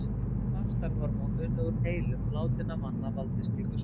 Einnig hefur vaxtarhormón unnið úr heilum látinna manna valdið slíku smiti.